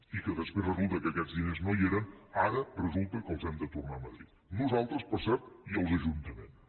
i que després resulta que aquests diners no hi eren ara resulta que els hem de tornar a madrid nosaltres per cert i els ajuntaments